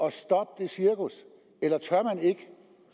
at stoppe det cirkus eller tør man ikke